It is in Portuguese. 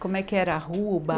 Como é que era a rua, o bar?